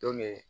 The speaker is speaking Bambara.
Don min